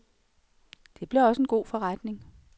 Det blev også en god forretning.